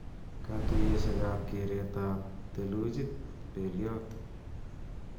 Katuyeshekab keret ab thelujit belyot